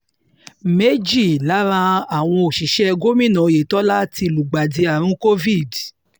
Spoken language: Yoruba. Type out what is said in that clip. méjì lára àwọn òṣìṣẹ́ gómìnà oyetola ti lùgbàdì àrùn covid